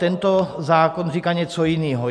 Tento zákon říká něco jiného.